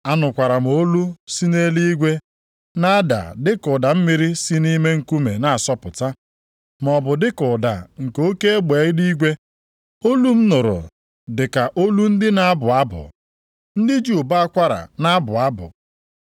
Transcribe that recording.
Anụkwara m olu si nʼeluigwe na-ada dịka ụda mmiri si nʼime nkume na-asọpụta, maọbụ dịka ụda nke oke egbe eluigwe. Olu m nụrụ dịka olu ndị na-abụ abụ, ndị ji ụbọ akwara na-abụ abụ.